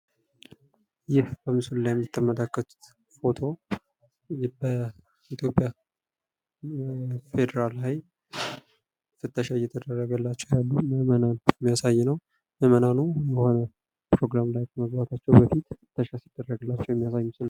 ይህ በምስሉ ላይ የምተመልከቱት ፎቶ በኢትዮጵያ ፌደራል ፍተሻ እየተደረገላቸው ያሉ ምእመናል የሚያሳይ ነው። ምእመናሉ በዋናነት ወደ ፕሮግራም ከመግባታችው በፊት መፈተሻቸውን የሚያሳይ ነው።